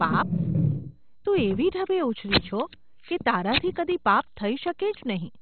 ‘પાપ ? તું એવી ઢબે ઊછરી છો કે તારાથી કદી પાપ થઈ શકે જ નહિ.